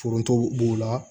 Foronto b'o la